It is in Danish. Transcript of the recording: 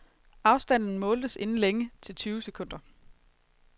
Afstanden måltes inden længe til tyve sekunder.